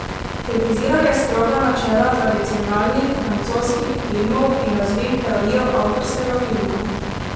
Kritiziral je stroga načela tradicionalnih francoskih filmov in razvil teorijo avtorskega filma.